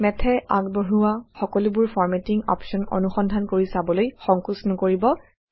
Math এ আগবঢ়োৱা সকলোবোৰ ফৰমেটিং অপশ্যন অনুসন্ধান কৰি ছাবলৈ সংকোচ নকৰিব